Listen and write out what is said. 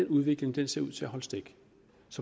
den udvikling ser ud til at holde stik